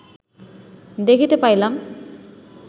দেখিতে পাইলাম